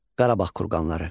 Qarabağ kurqanları.